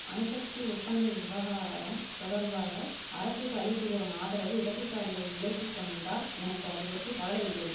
அணுசக்தி ஒப்பந்த விவகாரம் தொடர்பாக அரசுக்கு அளித்து வரும் ஆதரவை இடதுசாரிகள் விலக்கி கொண்டால் எனக்கு அதுபற்றி கவலை இல்லை